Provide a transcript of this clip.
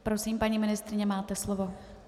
Prosím, paní ministryně, máte slovo.